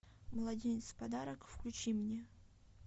младенец в подарок включи мне